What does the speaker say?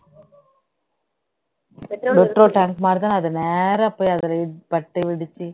petrol tank மாதிரி தான் அது நேரா போய் அதுல பட்டு வெடிச்சு